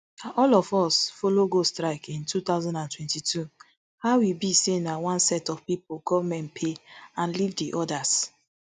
na all of us follow go strike in two thousand and twenty-two how e be say na one set of pipo goment pay and leave di odas